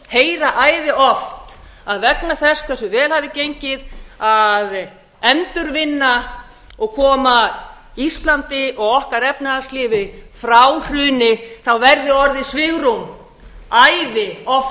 heyra æði oft að vegna þess hversu vel hafi gengið að endurvinna og koma íslandi og okkar efnahagslífi frá hruni verði orðið svigrúm æði oft